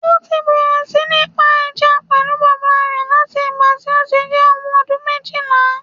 Ó ti bẹ̀rẹ̀ sí ní ń pa ẹja pẹ̀lú bàbà rẹ̀ láti ìgbà tí ó ti jẹ́ ọmọ ọdún méjìlá